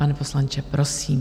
Pane poslanče, prosím.